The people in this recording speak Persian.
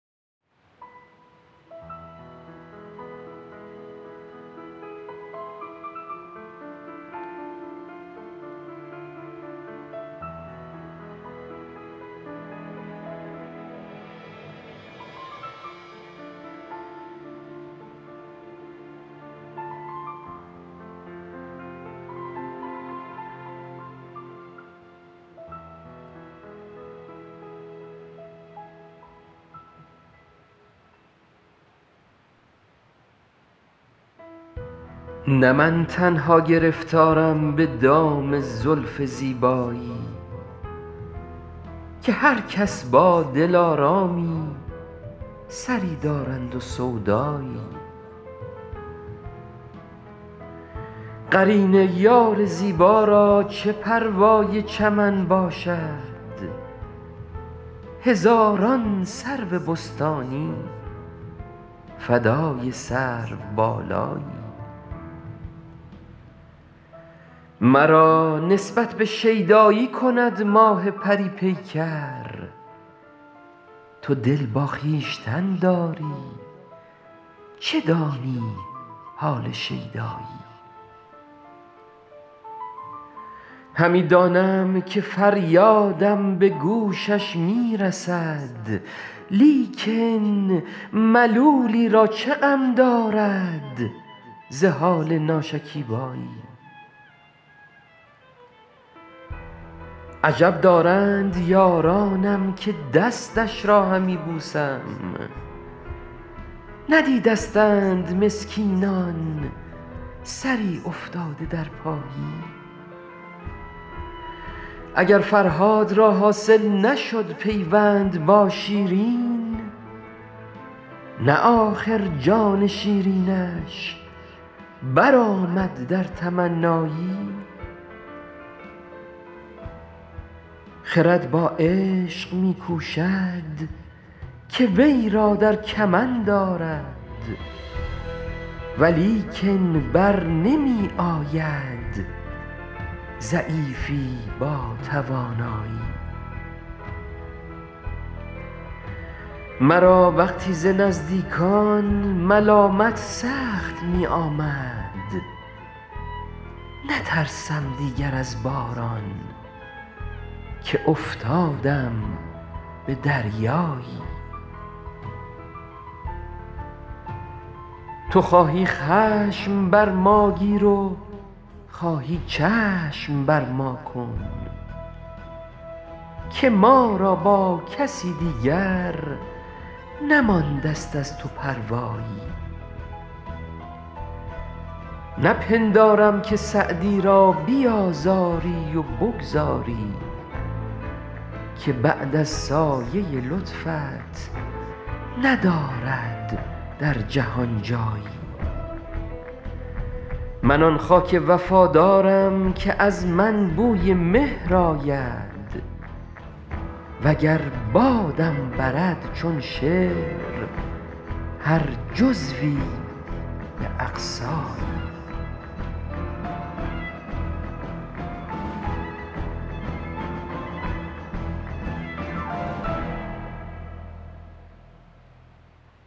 نه من تنها گرفتارم به دام زلف زیبایی که هر کس با دلآرامی سری دارند و سودایی قرین یار زیبا را چه پروای چمن باشد هزاران سرو بستانی فدای سروبالایی مرا نسبت به شیدایی کند ماه پری پیکر تو دل با خویشتن داری چه دانی حال شیدایی همی دانم که فریادم به گوشش می رسد لیکن ملولی را چه غم دارد ز حال ناشکیبایی عجب دارند یارانم که دستش را همی بوسم ندیدستند مسکینان سری افتاده در پایی اگر فرهاد را حاصل نشد پیوند با شیرین نه آخر جان شیرینش برآمد در تمنایی خرد با عشق می کوشد که وی را در کمند آرد ولیکن بر نمی آید ضعیفی با توانایی مرا وقتی ز نزدیکان ملامت سخت می آمد نترسم دیگر از باران که افتادم به دریایی تو خواهی خشم بر ما گیر و خواهی چشم بر ما کن که ما را با کسی دیگر نمانده ست از تو پروایی نپندارم که سعدی را بیآزاری و بگذاری که بعد از سایه لطفت ندارد در جهان جایی من آن خاک وفادارم که از من بوی مهر آید و گر بادم برد چون شعر هر جزوی به اقصایی